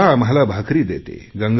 गंगा आम्हाला भाकरी देते